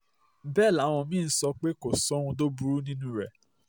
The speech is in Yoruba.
bẹ́ẹ̀ làwọn mí-ín ń sọ pé kò sóhun tó burú nínú rẹ̀